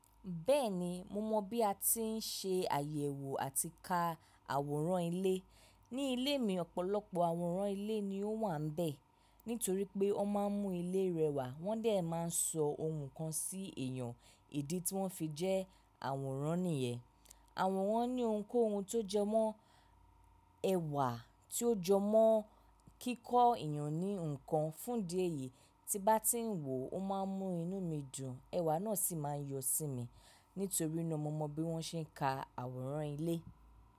Bẹ́ẹ̀ni, mo mọ bí a ti ń ṣe àyẹ̀wò àti ka àwòrán ilé. Ní ilé mi, ọ̀pọ̀lọpọ̀ àwòrán ilé ni ó wà n bẹ̀. Nítorí pé wọ́n máa ń mú ilé rẹwà, wọ́n de máa ń sọ ohun kan sí èèyàn ìdí tí wọ́n fi jẹ́ àwòrán nìyẹn. Àwòrán ni ohunkóhun tó jẹ mọ́, ẹ̀wà tí ó jọ mọ́ kíkọ́ èèyàn ní nǹkan. Fún idi èyí tí n bá ti ń wò ó máa ń mú inú mi dùn, ẹ̀wà náà sì máa ń yọ sí mi. Nítorí náà mo mọ bí wọ́n ṣe ń ka àwòrán ilé.